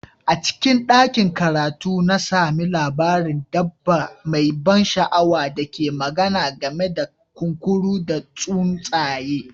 A cikin ɗakin karatu, na sami labarin dabba mai ban sha'awa da ke magana game da kunkuru da tsuntsaye